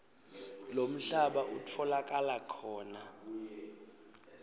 lomhlaba utfolakala khona